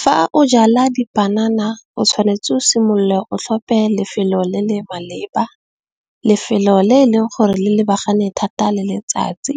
Fa o jala dipanana o tshwanetse o simolola o tlhope lefelo le le maleba, lefelo le e leng gore le lebagane thata le letsatsi.